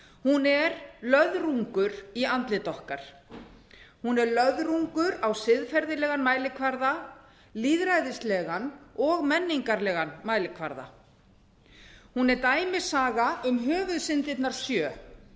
hún er löðrungur í andlit okkar hún er löðrungur á siðferðilegan mælikvarða lýðræðislegan og menningarlegan mælikvarða hún er dæmisaga um höfuðsyndirnar sjö